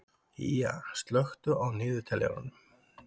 Ýja, slökktu á niðurteljaranum.